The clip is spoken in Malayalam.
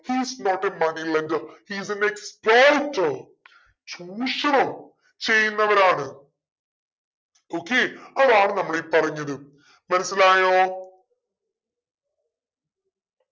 he is not a money lender he is an exploiter ചൂഷണം ചെയ്യുന്നവരാണ് okay അതാണ് നമ്മളീ പറഞ്ഞത് മനസ്സിലായോ